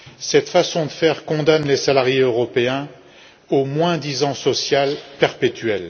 Cette façon de faire condamne les salariés européens au moins disant social perpétuel.